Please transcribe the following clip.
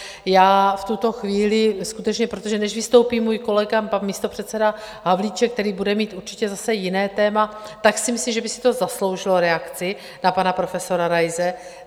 Já v tuto chvíli skutečně, protože než vystoupí můj kolega, pan místopředseda Havlíček, který bude mít určitě zase jiné téma, tak si myslím, že by si to zasloužilo reakci na pana profesora Raise.